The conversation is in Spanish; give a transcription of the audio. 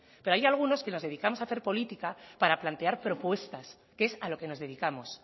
pero hay algunos que nos dedicamos hacer política para plantear propuestas que es a lo que nos dedicamos